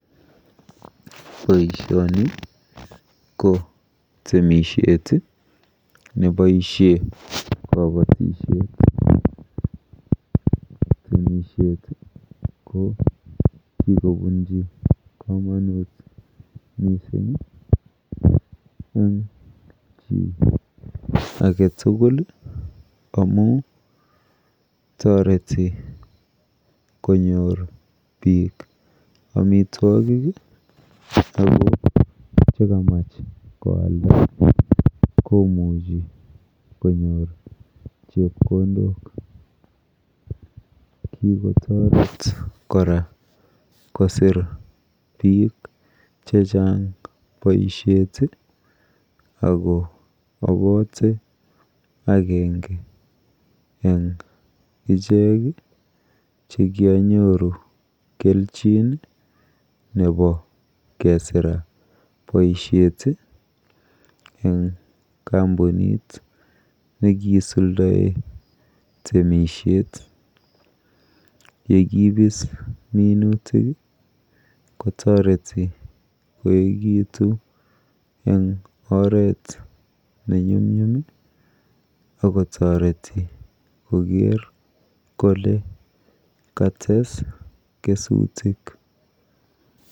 Boishoni ko temishet neboishe kabatishet. Temishet ko kikobunji komonut mising eng chi aketugul amu toreti konyor biik amitwokik ako chekamach koalda komuchi konyor chepkondok. Kikotoret kora kosir biik chechang boishet ako apote akenge eng ichek chekianyoru kelchin nepo kesira boishet eng kampunit nekiisuldoe temishet. yekibis minutik kotoreti koegitu eng oret nenyumnyum akotoreti koker kole kates kesutik.